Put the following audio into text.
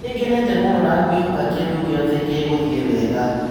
Ningenete mũno na ngwĩhoka kĩndũ gĩothe gĩgũthiĩ wega".